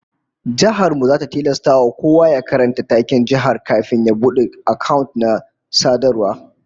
Jihar mu zata tilasta kowa ya karanta taken jihar kafin ya bude account na sadarwa